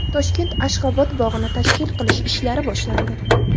Toshkentda Ashxobod bog‘ini tashkil qilish ishlari boshlandi.